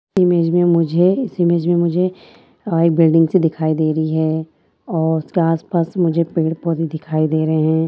इस इमेज में मुझे इस इमेज में मुझे आ बिल्डिंग सी दिखाई दे रही है और उसके आसपास मुझे पेड़-पौधे दिखाई दे रहें हैं।